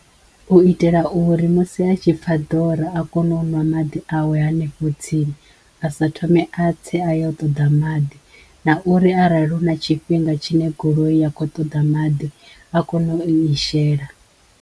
U itela uri musi a tshi pfha ḓora a kono u ṅwa maḓi awe hanefho tsini a sa thome a tse a ya u ṱoḓa maḓi na uri arali hu na tshifhinga tshine goloi ya kho ṱoḓa maḓi a kone u i shela.